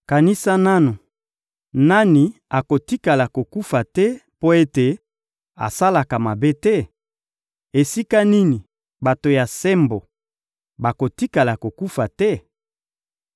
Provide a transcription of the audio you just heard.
Kanisa nanu: Nani akotikala kokufa te mpo ete asalaka mabe te? Esika nini bato ya sembo bakotikala kokufa te?